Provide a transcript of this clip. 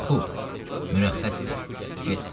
Xub, mürəxxəssən, get.